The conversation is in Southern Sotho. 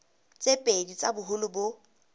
tse pedi tsa boholo bo